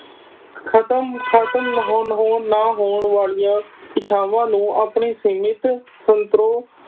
ਖਤਮ ਖਤਮ ਹੋਣ ਹੋਣ ਨਾ ਹੋਣ ਵਾਲੀਆਂ ਇੱਛਾਵਾਂ ਨੂੰ ਆਪਣੇ ਸੀਮਿਤ ਸੰਤੋਖ